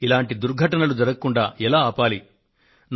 ఇలాంటి దుర్ఘటనలు జరగకుండా ఎలా ఆలపాలి అని అడిగారు